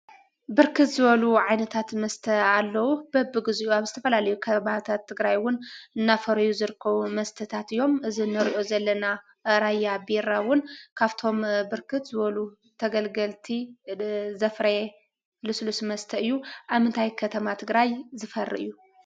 ብርክት ዝበሉ ዓይነታት መስተ ኣለዉ። በቢግዚኡ ኣብ ዝተፈላለዩ ከበባታት ትግራይ እዉን እናፈረዩ ዝርከቡን መስተታት እዮም። እዚ ንሪኦ ዘለና ራያ ቢራ እዉን ካፍቶም ብርክት ዝበሉ ተገልገልቲ ዘፍረየ ልስሉስ መስተ እዩ። ኣብ ምንታይ ከተማ ትግራይ ዝፈሪ እዩ?